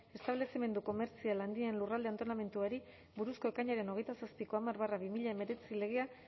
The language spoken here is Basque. establezimendu komertzial handien lurralde antolamenduari buruzko ekainaren hogeita zortziko hamar barra bi mila hemeretzi legea